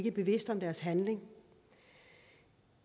er bevidste om deres handling